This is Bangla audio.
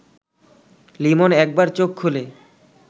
লিমন একবার চোখ খুলে